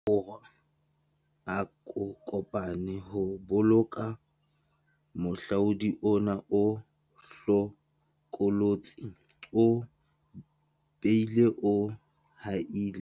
Borwa a ko pane ho boloka mohlodi ona o hlokolotsi o bileng o haella.